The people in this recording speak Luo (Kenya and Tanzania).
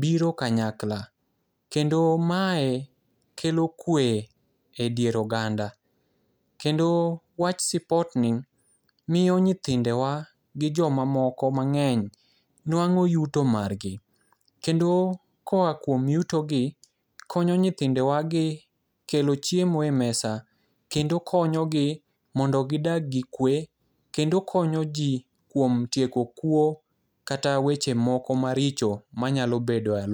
biro kanyakla kendo mae kelo kwe edier oganda. Kendo wach sipotni miyo nyithindewa gi joma moko mang'eny nuang'o yuto margi. Kendo koa kuom yutogi, konyo nyithindewa gi kelo chiemo e mesa kendo konyogi mondo gidag gi kwe kendo konyoji kuom tieko kuo kata weche moko maricho manyalo bedo e aluo